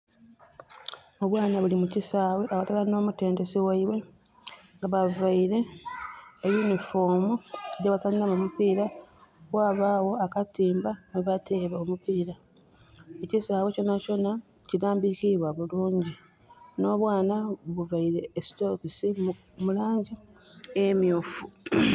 Obwaana buli mu kisaawe aghalala nh'omutendesi ghaibwe. Nga bavaire e uniform gye bazanhiramu omupiira. Ghabagho akatimba mwebateebera omupiira. Ekisaawe kyona kyona kilambikiibwa bulungi. N'obwana buvaire e stocks mu langi emyufu.